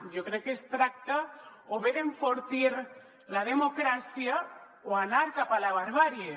jo crec que es tracta o bé d’enfortir la democràcia o anar cap a la barbàrie